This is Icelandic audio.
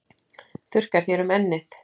Þurrkar þér um ennið.